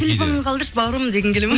телефоныңды қалдыршы бауырым дегің келеді ме